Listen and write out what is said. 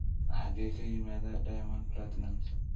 xagee ka yimaadaa diamond platnumz